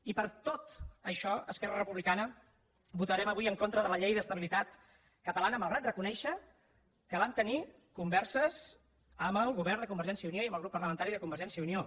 i per tot això esquerra republicana votarem avui en contra de la llei d’estabilitat catalana malgrat reconèixer que vam tenir converses amb el govern de convergència i unió i amb el grup parlamentari de convergència i unió